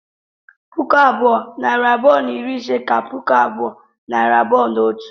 puku abụọ, nari abụọ na iri ise ka puku abụọ, nari abụọ na otu